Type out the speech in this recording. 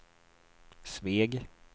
Sveg